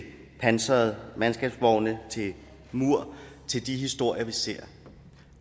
pansrede mandskabsvogne til mur til de historier vi ser